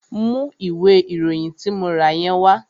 Mú ìwé ìròyìn tí mo rà yẹn wá!